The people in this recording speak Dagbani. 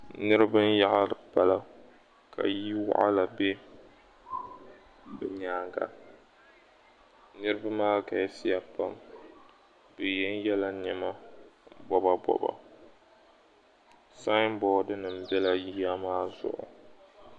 Niriba n-yaɣiri pala ka ya waɣila be bɛ nyaaŋga. Niriba maa galisiya pam bɛ yenyela nɛma bɔbabɔba. sainboodinima n-bela yiya maa zuɣu.